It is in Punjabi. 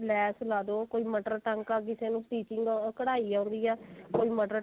ਲੈਸ ਲਾ ਦੋ ਕੋਈ ਮਟਰ ਟਾਂਕਾ ਲਾ ਦੋ ਕਿਸੇ ਨੂੰ stitching ah ਕਢਾਈ ਆਉਂਦੀ ਏ ਕੋਈ ਮਟਰ